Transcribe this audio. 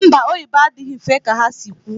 Mba, oyibo adịghị mfe ka ha si kwu